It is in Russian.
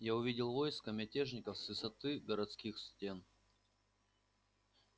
я увидел войско мятежников с высоты городских стен